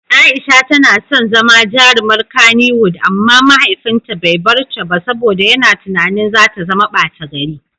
Aisha tana son zama jarumar Kannywood amma mahaifinta bai bar ta ba saboda yana tunanin za ta zama bata gari.